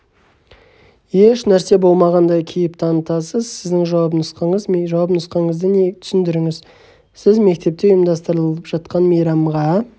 еш нәрсе болмағандай кейіп танытасыз сіздің жауап нұсқаңыз жауап нұсқаңызды түсіндіріңіз сіз мектепте ұйымдастырылып жатқан мейрамға